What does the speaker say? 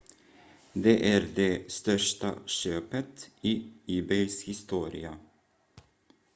det är det största köpet i ebays historia